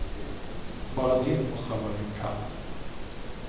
Bara det måste ha varit en kamp.